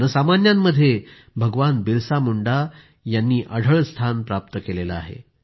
जनसामान्यांमध्ये तर भगवान बिरसा मुंडा यांनी अढळ स्थान प्राप्त केलं आहे